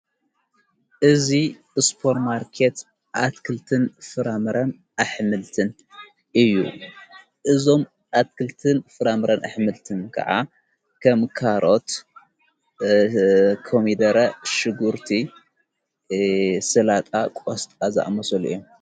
እዙ እስጶር ማርከት ኣትክልትን ፍራምረን ኣኅምልትን እዩ ።እዞም ኣትክልትን ፍራምረን ኣኅምልትን ከዓ ከምካሮት ፣ከሚደረ ፣ሽጉርቲ ሥላጣ ፣ቖስጦ ኣዛዕ መሶሉ እየ